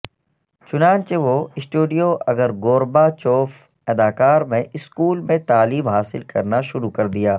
چنانچہ وہ studio Igor Gorbachev اداکار میں اسکول میں تعلیم حاصل کرنا شروع کر دیا